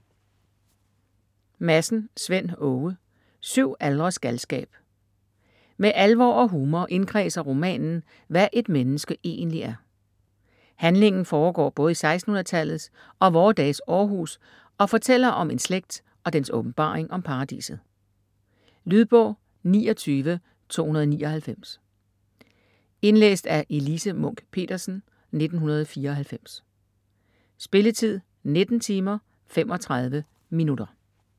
Madsen, Svend Åge: Syv aldres galskab Med alvor og humor indkredser romanen, hvad et menneske egentlig er. Handlingen foregår både i 1600-tallets og vore dages Århus og fortæller om en slægt og dens åbenbaring om paradiset. Lydbog 29299 Indlæst af Elise Munch-Petersen, 1994. Spilletid: 19 timer, 35 minutter.